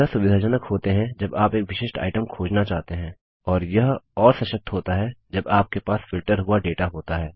यह सुविधाजनक होते हैं जब आप एक विशिष्ट आइटम खोजना चाहते हैं और यह और सशक्त होता है जब आपके पास फिल्टर हुआ डेटा होता है